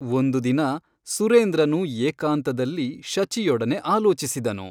ಒಂದು ದಿನ ಸುರೇಂದ್ರನು ಏಕಾಂತದಲ್ಲಿ ಶಚಿಯೊಡನೆ ಆಲೋಚಿಸಿದನು.